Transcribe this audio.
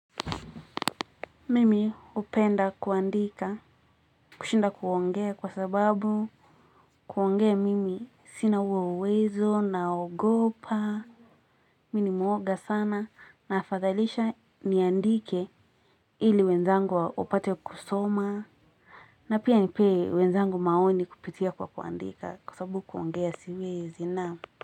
Mimi hupenda kuandika kushinda kuongea kwa sababu kuongea mimi sina hio uwezo naogopa Mimi ni mwoga sana na afadhalisha niandike ili wenzangu wapate kusoma na pia nipee wenzangu maoni kupitia kwa kuandika kwa sababu kuongea siwezi na.